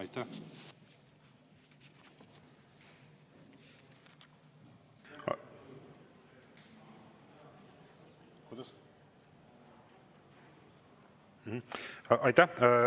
Aitäh!